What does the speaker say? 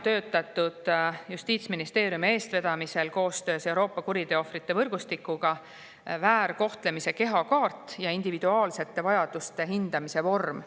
Justiitsministeeriumi eestvedamisel ja koostöös Euroopa kuriteoohvrite võrgustikuga on välja töötatud väärkohtlemise kehakaart ja individuaalsete vajaduste hindamise vorm.